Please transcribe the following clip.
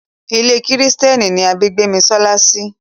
Ilé kìrìsìtẹ́nì ni a bí Gbémisọ́lá sí.